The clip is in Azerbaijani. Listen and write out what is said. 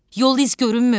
Yol izi görünmür.